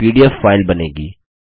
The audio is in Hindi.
एक पीडीएफ फाइल बनेगी